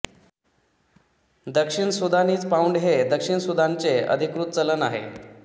दक्षिण सुदानीझ पाउंड हे दक्षिण सुदानचे अधिकृत चलन आहे